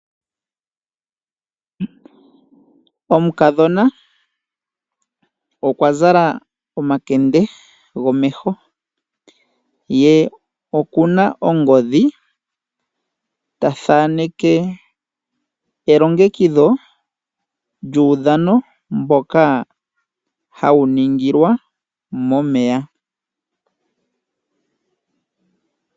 Omukadhona okwa zala omakende gomeho. Ye oku na ongodhi ta thaneke elongekidho lyuudhano mboka hawu ningilwa momeya.